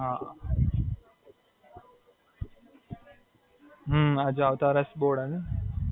હાં, હજુ આવતા વર્ષ બોર્ડ આવે ને.